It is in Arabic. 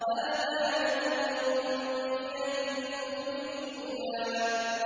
هَٰذَا نَذِيرٌ مِّنَ النُّذُرِ الْأُولَىٰ